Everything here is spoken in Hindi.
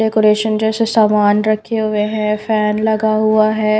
डेकोरेशन जैसे सामान रखे हुए हैं फैन लगा हुआ है।